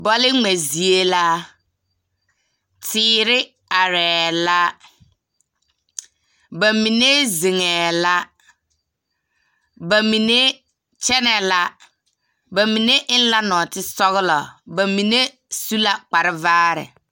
Bͻle ŋmԑ zie la. Teere arԑԑ la. Ba mine zeŋԑԑ la. Ba mine kyԑnԑ la. Ba mine eŋ la nͻͻtesͻgelͻ. Ba mine su la kpare vaare.